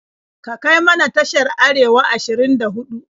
Ka kai mana tashar Arewa 24.